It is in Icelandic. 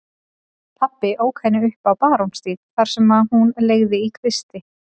Pabbi ók henni upp á Barónsstíg þar sem hún leigði í kvisti.